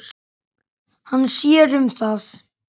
Hann sér um það.